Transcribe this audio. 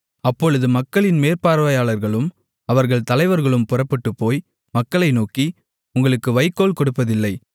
அப்பொழுது மக்களின் மேற்பார்வையாளர்களும் அவர்கள் தலைவர்களும் புறப்பட்டுப்போய் மக்களை நோக்கி உங்களுக்கு வைக்கோல் கொடுப்பதில்லை